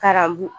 Karabu